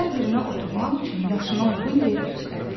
Hər birinə oturmaq üçün yaşına uyğun yer göstərdi.